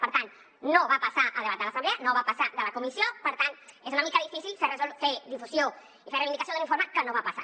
per tant no va passar a debat a l’assemblea no va passar de la comissió per tant és una mica difícil fer difusió i fer reivindicació d’un informe que no va passar